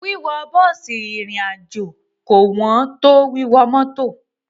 Wíwọ bọ́ọ̀sì rìnrìn àjò kò ẹn tó wíwọ mọ́tọ̀.